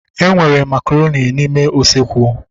Enwere makaronị n'ime usekwu